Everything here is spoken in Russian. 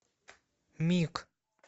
миг